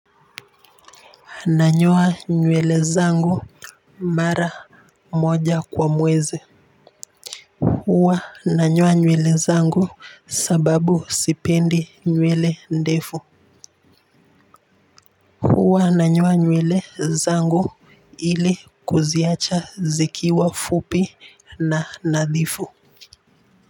Nanyoa nywele zangu mara moja kwa mwezi. Huwa nanyoa nywele zangu, sababu sipendi nywele ndefu. Huwa nanyoa nywele zangu ili kuziacha zikiwa fupi na nadhifu.